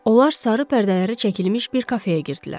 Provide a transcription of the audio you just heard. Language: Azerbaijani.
Onlar sarı pərdələri çəkilmiş bir kafeyə girdilər.